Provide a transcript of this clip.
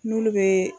N'olu bɛ